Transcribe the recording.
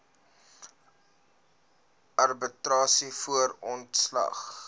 arbitrasie voor ontslag